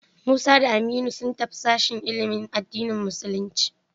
Musa da Aminu sun tafi sashen ilimin addinin musulunci.